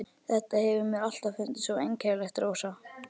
Þetta hefur mér alltaf fundist svo einkennilegt, Rósa.